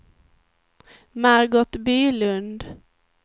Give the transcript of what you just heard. Margot Bylund